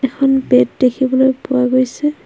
এখন বেট দেখিবলৈ পোৱা গৈছে।